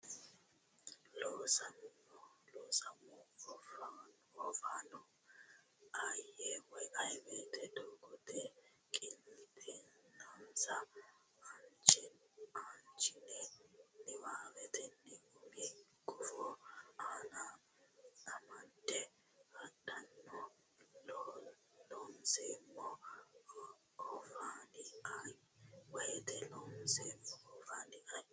Loonseemmo Oofaano ayee woteno doogote qiniitensa aanchine niwaawennita umi gufo ane amadde hadhanno Loonseemmo Oofaano ayee woteno Loonseemmo Oofaano ayee.